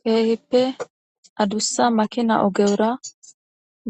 Kehippe adussa makina ogera